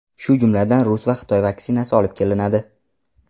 shu jumladan rus va xitoy vaksinasi olib kelinadi.